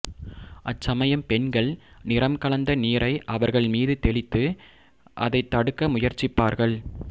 அச்சமயம் பெண்கள் நிறம் கலந்த நீரை அவர்கள் மீது தெளித்து அதைத் தடுக்க முயற்சிப்பார்கள்